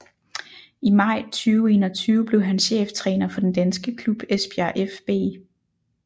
I maj 2021 blev han cheftræner for den danske klub Esbjerg fB